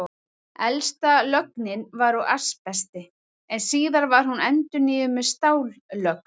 Elsta lögnin var úr asbesti, en síðar var hún endurnýjuð með stállögn.